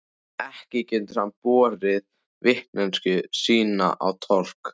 Ekki getur hann borið vitneskju sína á torg.